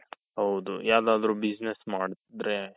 ಹೌದು ಯಾವ್ದಾದ್ರು business ಮಾಡಿದ್ರೆ